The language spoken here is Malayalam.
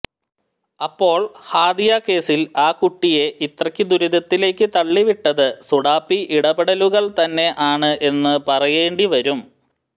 അപ്പോൾ ഹാദിയ കേസിൽ ആ കുട്ടിയേ ഇത്രക്ക് ദുരിതത്തിലേക്ക് തള്ളിവിട്ടത് സുടാപ്പി ഇടപെടലുകൾ തന്നെ ആണ് എന്ന് പറയേണ്ടി വരും